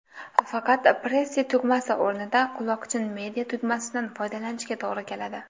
Faqat, Pressy tugmasi o‘rnida quloqchin media–tugmasidan foydalanishga to‘g‘ri keladi.